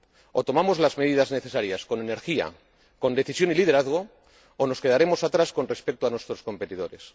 O tomamos las medidas necesarias con energía, con decisión y liderazgo, o nos quedaremos atrás con respecto a nuestros competidores.